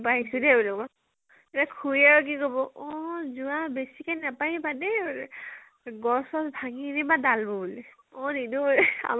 বগৰী নিব আহিছো দেই, তে খুৰীয়ে আৰু কি কব । অ যোৱা, বেছিকে নাপাৰিবা দেই বোলে । গছ চছ ভাঙি নিনিবা ডাল বোৰ বোলে । অ নিনো বাৰু